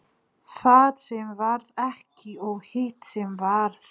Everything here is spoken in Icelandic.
Það sem varð ekki og hitt sem varð